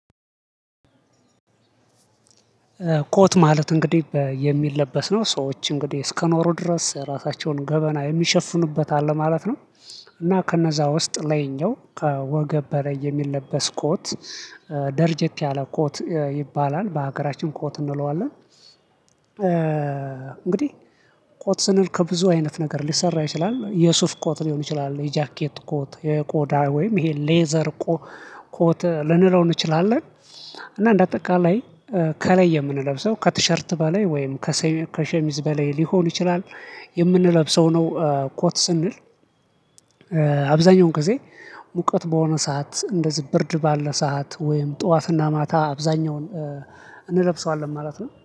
ኮት ማለት እንግዲህ የሚለበስ ነው ሰዎች እንግዲህ እስከኖሩ ድረስ ራሳቸውን ገበና የሚሸፍኑበት አለ ማለት ነው። እና ከነዛ ውስጥ ላይኛው ከወገብ በላይ የሚለበስ ኮት። ደርጀት ያለ ኮት ይባላል በሀገራችን ኮት እንለዋለን። እንግዲህ ኮት ስንል ከብዙ አይነት ነገር ሊሰራ ይችላል የሱፍ ኮት ሊሆን ይችላል የጃኬት ኮት የቆዳ ወይም ይሄ ሌዘር ኮት ልንለው እንችላለን። እና እንደ አጠቃላይ ከላይ የምንለብሰው ከቲሸርት በላይ ወይም ከሸሚዝ በላይ ሊሆን ይችላል። የምንለብሰው ነው ኮት ስንል አብዛኛውን ጊዜ ሙቀት በሆነ ሰዓት እንደዚህ ብርድ ባለ ሰዓት ወይም ጠዋትና ማታ አብዛኛውን እንለብሰዋለን ማለት ነው